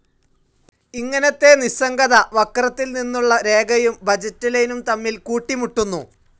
ഇങ്ങനെ നിസ്സംഗത വക്രത്തിൽ നിന്നുള്ള രേഖയും ബഡ്ജറ്റ്‌ ലൈനും തമ്മിൽ കൂട്ടിമുട്ടുന്നു.